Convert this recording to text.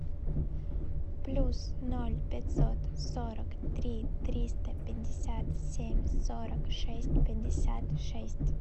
плюс ноль пятьсот сорок три триста пятьдесят семь сорок шесть пятьдесят шесть